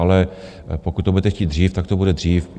Ale pokud to budete chtít dřív, tak to bude dřív.